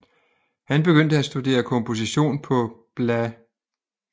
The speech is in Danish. Han begyndte at studere komposition på bla